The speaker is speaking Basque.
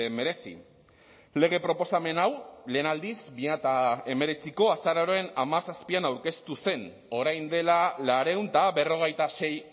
merezi lege proposamen hau lehen aldiz bi mila hemeretziko azaroaren hamazazpian aurkeztu zen orain dela laurehun eta berrogeita sei